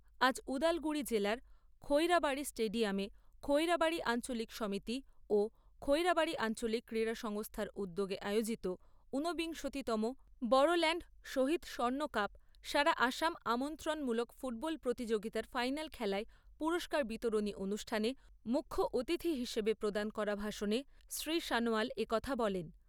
আজ উদালগুড়ি জেলার খৈড়াবাড়ি স্টেডিয়ামে খৈড়াবাড়ি আঞ্চলিক সমিতি ও খৈড়াবাড়ি আঞ্চলিক ক্রীড়া সংস্থার উদ্যোগে আয়োজিত ঊনবিংশতি তম বড়োল্যাণ্ড শহীদ স্বর্ণকাপ সারা আসাম আমন্ত্রণমূলক ফুটবল প্রতিযোগিতার ফাইনাল খেলায় পুরস্কার বিতরণী অনুষ্ঠানে মুখ্য অতিথি হিসেবে প্রদান করা ভাষণে শ্রী সনোয়াল একথা বলেন।